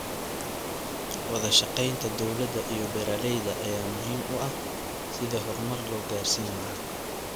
Wadashaqeynta dowladda iyo beeraleyda ayaa muhiim u ah sidii horumar loo gaarsiin lahaa.